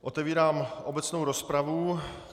Otevírám obecnou rozpravu.